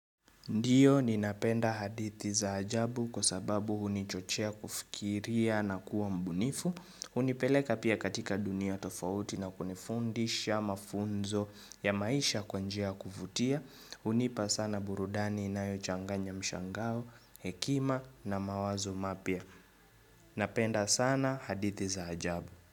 Ndio ni napenda hadithi za ajabu kwa sababu huni chochea kufikiria na kuwa mbunifu. Hunipeleka pia katika dunia tofauti na kunifundisha mafunzo ya maisha kwa njia kuvutia. Hunipa sana burudani na yo changanya mshangao, hekima na mawazo mapya. Napenda sana hadithi za ajabu.